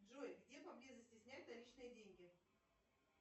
джой где поблизости снять наличные деньги